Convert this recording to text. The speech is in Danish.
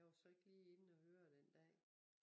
Jeg var så ikke lige inde og høre den dag